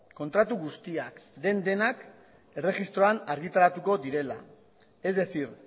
kontratu guztiak den denak erregistroan argitaratuko direla es decir